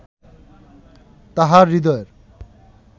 তাঁহার হৃদয়ের